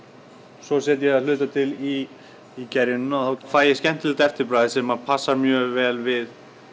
svo setja ég það að hluta til í í gerjunina og þá fæ ég skemmtilegt eftirbragð sem passar mjög vel við